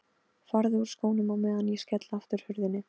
Farðu úr skónum á meðan ég skelli aftur hurðinni.